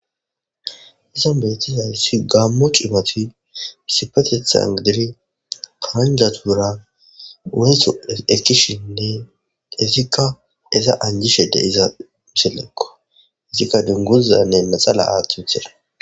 Izan betis ayusi gaammu cimoti misipetethan gidiri karanja tuura weeso ekishinne izikka iza anjishede iza misillekko izikka maxala aathiuthera